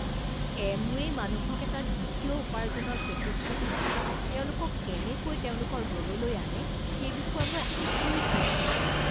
এমৱে'ই মানুহক এটা দ্বিতীয় উপাৰ্জনৰ প্ৰতিশ্ৰুতি দি তেওঁলোকক কেনেকৈ তেওঁলোকৰ দললৈ আনে, সেই বিষয়ে মই আচৰিত হৈছো।